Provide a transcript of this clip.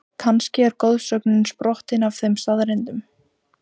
Kannski er goðsögnin sprottin af þeim staðreyndum?